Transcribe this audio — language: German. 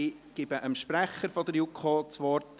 – Patrick Freudiger hat als Sprecher der JuKo das Wort.